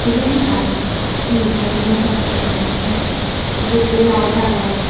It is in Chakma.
eban ekkan he jani obow eben mui no sinongor uguredi layet agey.